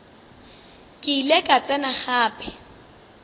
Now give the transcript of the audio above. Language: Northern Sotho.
ke ile ka tsena gape